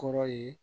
Kɔrɔ ye